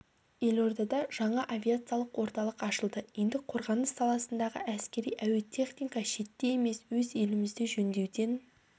елордада жаңа авиациялық орталық ашылды енді қорғаныс саласындағы әскери әуе техника шетте емес өз елімізде жөндеуден